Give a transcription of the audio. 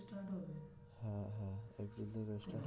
বলছি ত